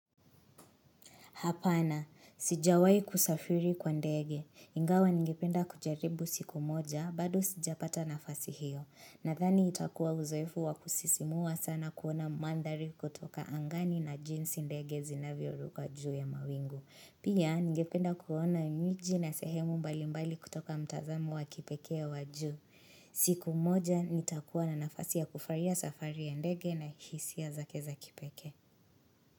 Hapana, sijawai kusafiri kwa ndege. Ingawa ningependa kujaribu siku moja, bado sijapata nafasi hiyo. Nadhani itakuwa uzoefu wa kusisimua sana kuona mandhari kutoka angani na jinsi ndege zinavyo ruka juu ya mawingu. Pia, ngependa kuona mji na sehemu mbali mbali kutoka mtazamo wa kipeke ya wa juu. Siku moja, nitakuwa na nafasi ya kufarahia safari ya ndege na hisia zake za kipekee.